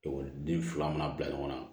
Ekɔliden fila mana bila ɲɔgɔn na